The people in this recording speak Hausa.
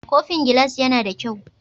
Kofin gilas yAna da kyau?